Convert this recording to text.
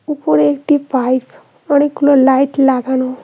উপরে একটি পাইপ অনেকগুলি লাইট লাগানো।